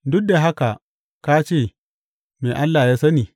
Duk da haka ka ce, Me Allah ya sani?